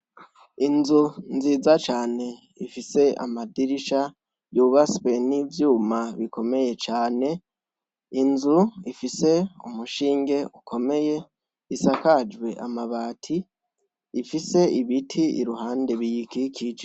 Inzu nziza Cane ifise amadirisha yubatswe nivyuma bikomeye cane . Inzu ifise umushinge ukomeye isakajwe amabati ifise ibiti iruhande biyikikije.